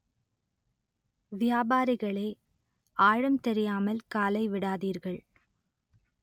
வியாபாரிகளே! ஆழம் தெரியாமல் காலை விடாதீர்கள்